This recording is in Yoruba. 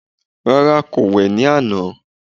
Rárá, kò wẹ̀ ní àná